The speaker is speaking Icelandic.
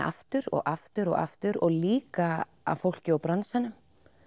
aftur og aftur og aftur og líka af fólki úr bransanum